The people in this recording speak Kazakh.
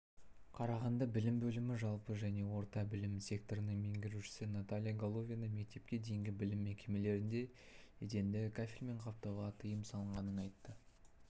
қарағанды білім бөлімі жалпы және орта білім секторының меңгерушісі наталья головина мектепке дейінгі білім мекемелерінде еденді кафельмен қаптауға тыйым салынғанын айтты